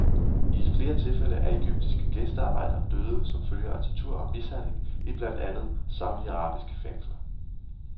I flere tilfælde er egyptiske gæstearbejdere døde som følge af tortur og mishandling i blandt andet saudiarabiske fængsler.